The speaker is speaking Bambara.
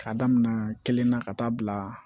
K'a damina kelen na ka taa bila